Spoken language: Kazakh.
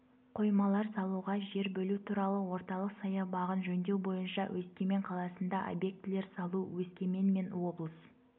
қоймалар салуға жер бөлу туралы орталық саябағын жөндеу бойынша өскемен қаласында объектілер салу өскемен мен облыс